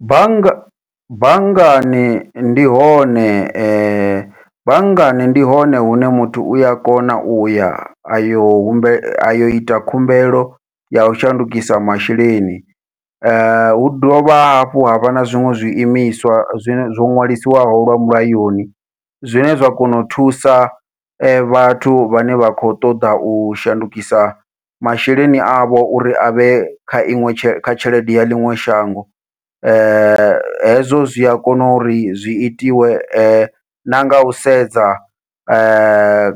Bannga banngani ndi hone, banngani ndi hone hune muthu uya kona uya ayo humbele ayo ita khumbelo yau shandukisa masheleni, hu dovha hafhu havha na zwiṅwe zwi imiswa zwine zwo ṅwalisiwaho lwa mulayoni zwine zwa kona u thusa vhathu vhane vha khou ṱoḓa u shandukisa masheleni avho uri avhe kha iṅwe tshelede ya ḽiṅwe shango. Hezwo zwi a kona uri zwi itiwe na ngau sedza